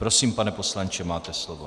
Prosím, pane poslanče, máte slovo.